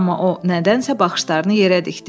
Amma o nədənsə baxışlarını yerə dikdi.